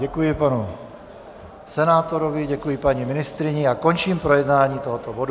Děkuji panu senátorovi, děkuji paní ministryni a končím projednání tohoto bodu.